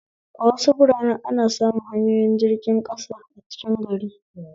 A wasu biranen ana samun hanyoyin jirgin ƙasa a cikin gari